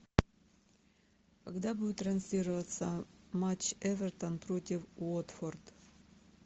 когда будет транслироваться матч эвертон против уотфорд